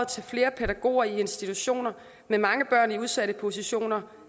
til flere pædagoger i institutioner med mange børn i udsatte positioner